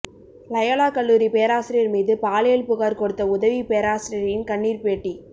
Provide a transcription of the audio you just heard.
Loyola கல்லூரி பேராசிரியர் மீது பாலியல் புகார் கொடுத்த உதவி பேராசிரியையின் கண்ணீர் பேட்டி